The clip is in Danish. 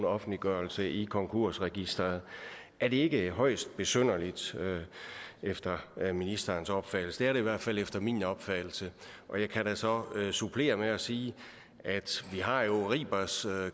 offentliggørelse i konkursregisteret er det ikke højst besynderligt efter ministerens opfattelse det er det i hvert fald efter min opfattelse jeg kan da så supplere med at sige at vi har ribers